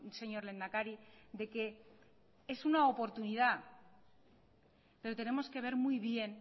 señor lehendakari de que es una oportunidad pero tenemos que ver muy bien